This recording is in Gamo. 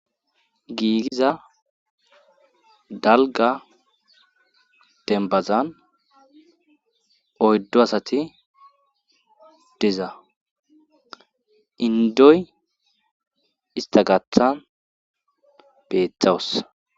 giigiza dalga dembazan oyddo asati deza indoy ista gaathan beetawus